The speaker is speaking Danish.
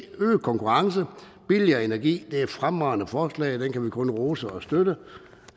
øget konkurrence billigere energi det er et fremragende forslag og det kan vi kun rose og støtte